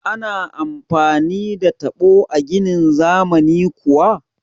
Ana amfani da taɓo a ginin zamani kuwa?